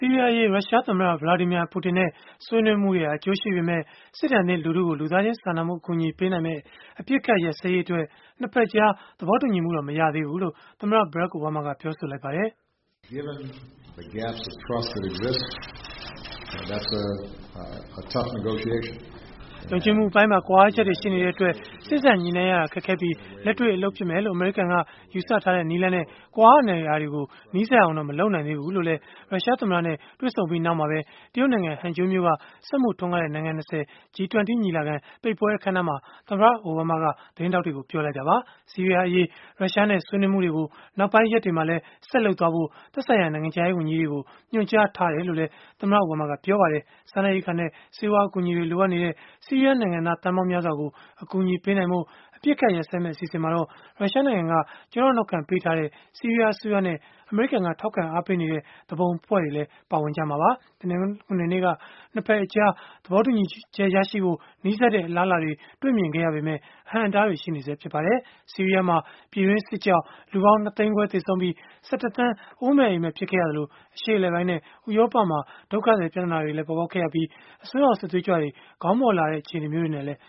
ီးရီးယားအရေး ရုရှားသမ္မတ Vladimir Putin နဲ့ ဆွေးနွေးမှုတွေဟာ အကျိုးရှိပေမဲ့၊ စစ်ဒဏ်သင့် လူထုကို လူသားချင်း စာနာမှု အကူအညီ ပေးနိုင်မယ့် အပစ်အခတ်ရပ်စဲရေးအတွက် ၂ ဘက်အကြား သဘောတူညီမှုတော့ မရသေးဘူးလို့ သမ္မတ Barack Obama က ပြောဆိုလိုက်ပါတယ်။ ယုံကြည်မှုအပိုင်းမှာ ကွာဟချက်တွေ ရှိနေတဲ့အတွက် စေ့စပ်ညှိနှိုင်းရတာ ခက်ခဲပြီး၊ လက်တွေ့ အလုပ်ဖြစ်မယ်လို့ ယူဆထားတဲ့ နည်းလမ်းနဲ့ ကွာဟနေတာတွေကို နီးစပ်အောင်လာတဲ့အထိတော့ မလုပ်နိုင်သေးဘူးလို့လည်း ရုရှားသမ္မတနဲ့ တွေ့ဆုံပြီး နောက်မှာပဲ တရုတ်နိုင်ငံ ဟန်ဂျိုးမြို့က စက်မှုထွန်းကားတဲ့ နိုင်ငံ ၂၀ ညီလာခံ ပိတ်ပွဲအခမ်းအနားမှာ သမ္မတအိုဘားမားက သတင်းထောက်တွေကို ပြောဆိုလိုက်တာပါ။ ဆီးရီးယားအရေး ရုရှားနဲ့ ဆွေးနွေးမှုတွေကို နောက်ပိုင်းရက်တွေမှာလည်း ဆက်လုပ်သွားဖို့ သက်ဆိုင်ရာ နိုင်ငံခြားရေးဝန်ကြီးတွေကို ညွှန်ကြားထားတယ်လို့လည်း သမ္မတအိုဘားမားက ပြောပါတယ်။ စားနပ်ရိက္ခာနဲ့ ဆေးဝါးအကူအညီတွေ လိုအပ်နေတဲ့ ဆီးရီးယား နိုင်ငံသား သန်းပေါင်းများစွာကို အကူအညီပေးနိုင်ဖို့ အပစ်အခတ် ရပ်စဲမယ့် အစီအစဉ်မှာတော့ ရုရှားနိုင်ငံက ကျောထောက်နောက်ခံ ပေးထားတဲ့ ဆီးရီးယားအစိုးရနဲ့ အမေရိကန်က ထောက်ခံ အားပေးနေတဲ့ သူပုန်အဖွဲ့တွေ ပါဝင်ကြမှာပါ။ တနင်္ဂနွေနေ့က ၂ ဘက်အကြား သဘောတူညီချက်ရဖို့ နီးစပ်တဲ့ အလားအလာတွေ တွေ့ခဲ့ရပေမဲ့ အဟန့်အတားတွေလည်း ရှိနေဆဲ ဖြစ်ပါတယ်။ ဆီးရီးယားမှာ ပြည်တွင်းစစ်ကြောင့် လူပေါင်း ၂ သိန်းခွဲ သေဆုံးပြီး ၁၁ သန်း ဦးမဲ့အိမ်မဲ့ ဖြစ်ခဲ့ရသလို၊ အရှေ့အလယ်ပိုင်းနဲ့ ဥရောပမှာ ဒုက္ခသည် ပြဿနာတွေ ပေါ်ပေါက်ခဲ့ရသလို၊ အစွန်းရောက် စစ်သွေးကြွတွေ ခေါင်းမော့လာတဲ့ အခြေအနေမျိုးတွေလည်း